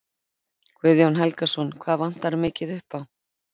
Guðjón Helgason: Hvað vantar mikið upp á?